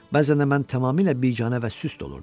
Bəzən də mən tamamilə biganə və süst olurdum.